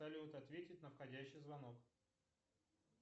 салют ответить на входящий звонок